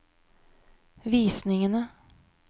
visningene